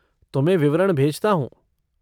तुम्हें विवरण भेजता हूँ।